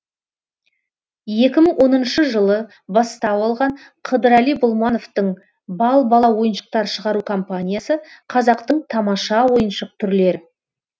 екі мың оныншы жылы бастау алған қыдырәли болмановтың бал бала ойыншықтар шығару компаниясы қазақтың тамаша ойыншық түрлер